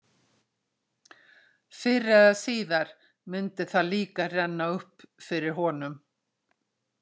Fyrr eða síðar myndi það líka renna upp fyrir honum.